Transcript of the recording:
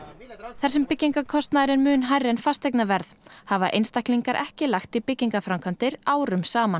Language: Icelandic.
þar sem byggingarkostnaður er mun meiri en fasteignaverð hafa einstaklingar ekki lagt í byggingarframkvæmdir árum saman